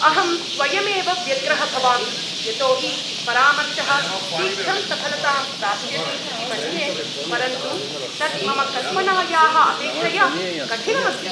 अहं स्वयमेव व्यग्रः भवामि यतोहि परामर्शः शीघ्रं सफलतां प्राप्स्यति इति मन्ये, परन्तु तत् मम कल्पनायाः अपेक्षया कठिनम् अस्ति।